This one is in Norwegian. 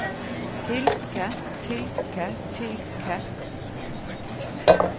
fylke fylke fylke